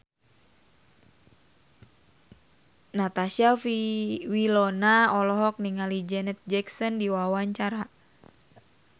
Natasha Wilona olohok ningali Janet Jackson keur diwawancara